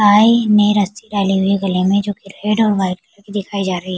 में रस्सी डाली हुई है गले में जो की रेड और व्हाइट कलर की दिखाई जा रही है।